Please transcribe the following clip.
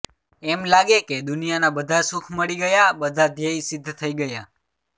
એમ લાગે કે દુનિયાના બધા સુખ મળી ગયા બધા ધ્યેય સિધ્ધ થઇ ગયા